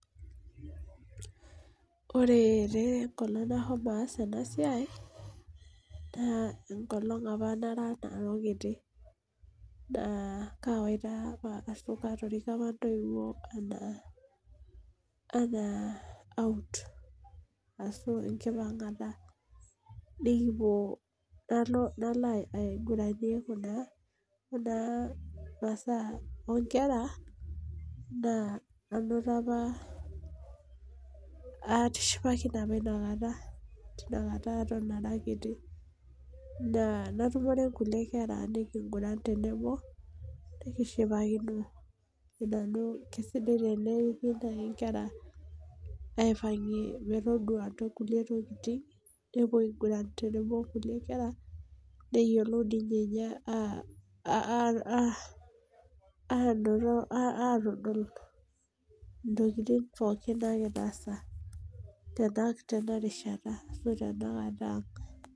Ore taa enkolong' nashomo aas ena siai naa enkolong' apa nara nanu kiti. naa kaatoriko apa intoiwuo anaa out ashy enkipangata. nikipuo nalo ainguranie Kuna masaa oo nkera naa anoto apa, atishipaki ne apa Ina kata teina kata ara kiti. naa natumore nkulie kera nikinguran tenebo nikishipakino. kisidai tene riki naaji nkera aipangie metodua nkulie tokitin nepuo ainguran tenebo onkulie kera. neyiolou ninye aanototo .aatodol ntokitin pookin naagira aasa tena rishata. ashu tenakata.